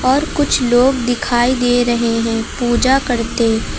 और कुछ लोग दिखाई दे रहे हैं पूजा करते--